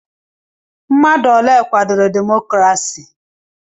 Mmadụ ole kwadoro demokrasi?